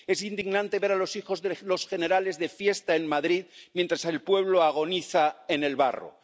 Es indignante ver a los hijos de los generales de fiesta en Madrid, mientras el pueblo agoniza en el barro.